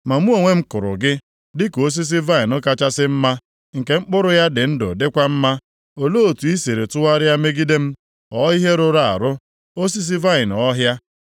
Ma mụ onwe m kụrụ gị dịka osisi vaịnị kachasị mma nke mkpụrụ ya dị ndụ dịkwa mma. Olee otu i siri tụgharịa megide m, ghọọ ihe rụrụ arụ, osisi vaịnị ọhịa?